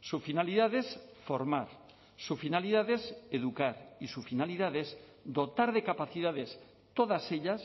su finalidad es formar su finalidad es educar y su finalidad es dotar de capacidades todas ellas